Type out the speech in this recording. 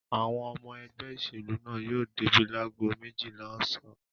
Àwọn ọmọ ẹgbẹ́ ìṣèlú náà yóò débí lágo méjìlá ọ̀sán.